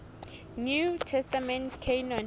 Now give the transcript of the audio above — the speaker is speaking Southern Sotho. new testament canon